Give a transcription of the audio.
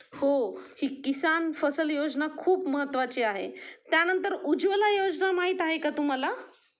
हो हि किसान फसल योजना खूप महत्वाची आहे त्या नंतर उज्वला योजना माहित आहे का तुम्हाला?